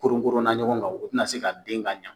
Koronkoronna ɲɔgɔn kan, o tɛna se ka den ka ɲɛ.